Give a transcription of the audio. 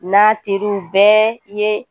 N'a teri bɛɛ ye